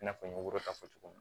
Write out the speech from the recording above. I n'a fɔ n ye wɔrɔ ta fɔ cogo min